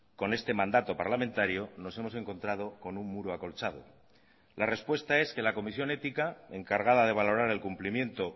con este mandato parlamentario nos hemos encontrado con un muro acolchado la respuesta es que la comisión ética encargada de valorar el cumplimiento